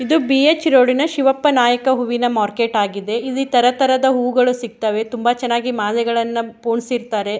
ಎದು ಬಿ.ಎಚ್. ರೋಡಿನ ಶಿವಪ್ಪ ನಾಯಕ ಹೂವಿನ ಮಾರ್ಕೆಟ್ ಆಗಿದೆ ಇಲ್ಲಿ ತರತರದ ಹೂಗಳು ಸಿಗ್ತವೆ ತುಂಬ ಚೆನ್ನಾಗಿ ಮಳೆಗಳನ್ನ ಪೊಣ್ಸಿರ್ತಾರೆ.